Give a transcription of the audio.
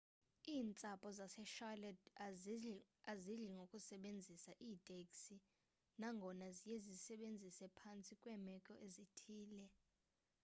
iintsapho zasecharlotte azidli ngokusebenzisa iiteksi nangona ziye zizisebenzise phantsi kweemeko ezithile